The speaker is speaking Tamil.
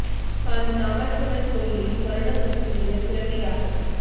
காஞ்சி காமாட்சி அம்மன் கோயிலில் கொரோனா தொற்று நீங்க சிறப்பு யாகம்